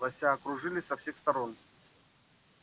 лося окружили со всех сторон